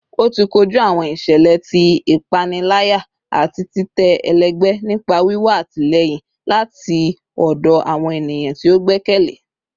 oti koju awọn iṣẹlẹ ti ipanilaya ati titẹ ẹlẹgbẹ nipa wiwa atilẹyin lati ọdọ awọn eniyan ti o gbẹkẹle